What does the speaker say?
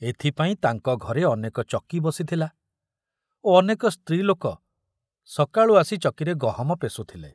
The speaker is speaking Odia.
ଏଥପାଇଁ ତାଙ୍କ ଘରେ ଅନେକ ଚକି ବସିଥିଲା ଓ ଅନେକ ସ୍ତ୍ରୀ ଲୋକ ସକାଳୁ ଆସି ଚକିରେ ଗହମ ପେଷୁଥିଲେ।